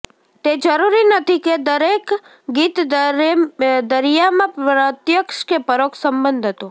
તે જરૂરી નથી કે દરેક ગીત દરિયામાં પ્રત્યક્ષ કે પરોક્ષ સંબંધ હતો